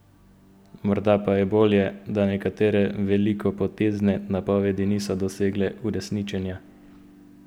Morda pa je bolje, da nekatere velikopotezne napovedi niso dosegle uresničenja?